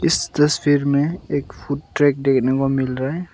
इस तस्वीर में एक फुड ट्रैक देखने को मिल रहा है।